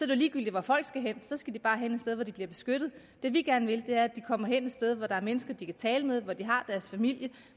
jo ligegyldigt hvor folk skal hen så skal de bare hen et sted hvor de bliver beskyttet det vi gerne vil er at de kommer hen et sted hvor der er mennesker de kan tale med og hvor de har deres familie